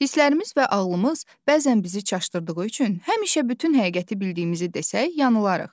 Hisslərimiz və ağlımız bəzən bizi çaşdırdığı üçün həmişə bütün həqiqəti bildiyimizi desək, yanılarız.